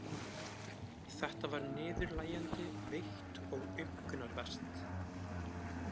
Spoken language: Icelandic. Þetta var niðurlægjandi, veikt og aumkunarvert.